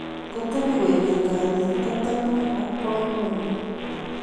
Ngotebi koekeny kalyet koteb ngwony ak boiboiyet